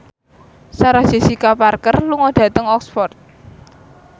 Sarah Jessica Parker lunga dhateng Oxford